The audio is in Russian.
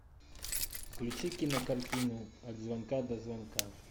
включи кинокартину от звонка до звонка